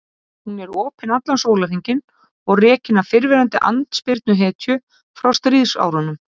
Hún er opin allan sólarhringinn og rekin af fyrrverandi andspyrnuhetju frá stríðsárunum.